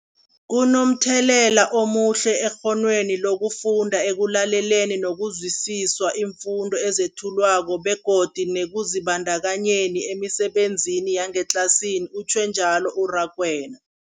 Kunomthelela omuhle ekghonweni lokufunda, ekulaleleni nokuzwisiswa iimfundo ezethulwako begodu nekuzibandakanyeni emisebenzini yangetlasini, utjhwe njalo u-Rakwena.